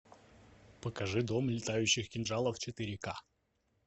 покажи дом летающих кинжалов четыре ка